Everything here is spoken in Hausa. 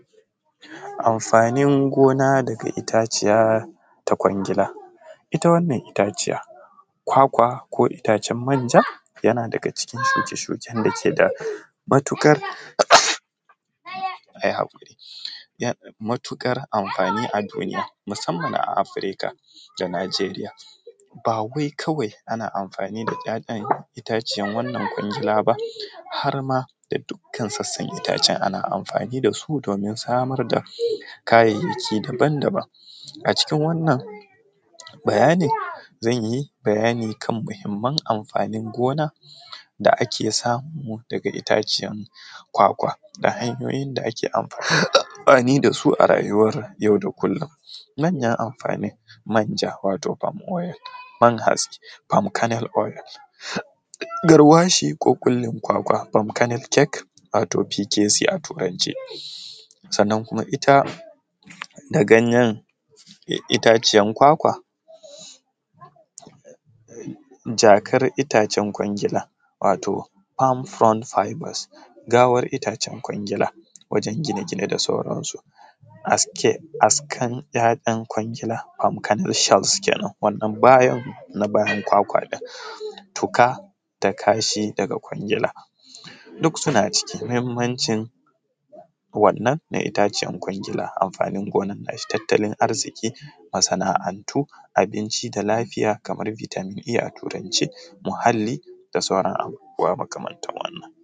Amfanin gona daga itaciya ta kwangila ita wannan itaciya kwakwa ko itacen manja yana daga cikin shuke shuken dake da matukar amfani a duniya musamman a Afrika da Nijeriya bawai kawai ana amfani da ‘ya’yan itaciyar, wannan kwangila ba harma da dukkan sasan itace ana amfani dasu domin samar da kaya yaki daban-daban, a cikin wannan bayanin zanyi bayani kan muhimman amfani gona da ake samu daga itaciya kwakwa da hanyoyin da ake amfanin dasu a rayuwar mu na yau da kullum manyan amfanin manja wato palm oil man haske palm kernel oil garwashi ko kulin kwakwa palm kernel cake wato pycesyia a turance, sannan ita da ganyen itaciyar kwakwa jakar itacen kwangila wato palm found founders gawar itacer kwangila wajen gina-gine da sauransu askan yayan kwangila palm kernel shells kenan, wannan bayan kwakwa ɗin tuka da kashi daga kwangila duk suna cikin muhimmancin, wannan da itaciyar kwangila amfani gonan nashi tattalin arziki masana’antu abinci da lafiya kamar vitamin A a turance muhali da sauran abubuwa makamanta wannan.